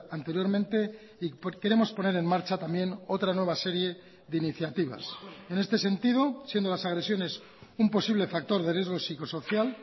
anteriormente y queremos poner en marcha también otra nueva serie de iniciativas en este sentido siendo las agresiones un posible factor de riesgo psicosocial